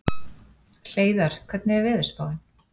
Hleiðar, hvernig er veðurspáin?